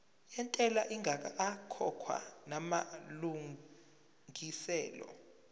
yentela ingakakhokhwa namalungiselo